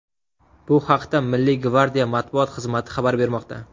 Bu haqda Milliy gvardiya matbuot xizmati xabar bermoqda .